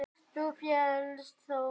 Þú féllst þó?